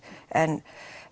en